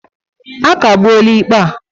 Akagbuola ikpe a